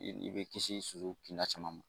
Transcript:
I i bɛ kisi soso kinda caman ma.